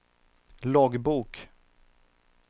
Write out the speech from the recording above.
loggbok